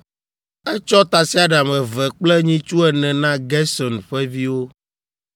Etsɔ tasiaɖam eve kple nyitsu ene na Gerson ƒe viwo,